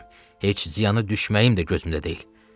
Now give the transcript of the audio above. Heç ziyanı düşməyim də gözümdə deyil.